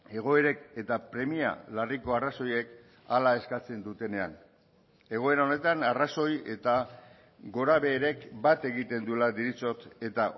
egoerek eta premia larriko arrazoiek hala eskatzen dutenean egoera honetan arrazoi eta gorabeherek bat egiten duela deritzot eta